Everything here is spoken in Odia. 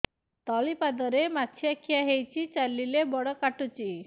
ତଳିପାଦରେ ମାଛିଆ ଖିଆ ହେଇଚି ଚାଲିଲେ ବଡ଼ କାଟୁଚି